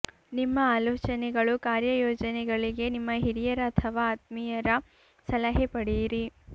ನಿಮ್ಮ ಆಲೋಚನೆಗಳು ಕಾರ್ಯಯೋಜನೆಗಳಿಗೆ ನಿಮ್ಮ ಹಿರಿಯರ ಅಥವಾ ಆತ್ಮಿಯರ ಸಲಹೆ ಪಡೆಯಿರಿ